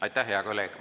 Aitäh, hea kolleeg!